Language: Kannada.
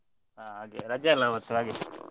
ಹಾ ಹಾಗೆ ರಜೆ ಅಲ್ಲ ಮತ್ತೆ ಹಾಗೆ.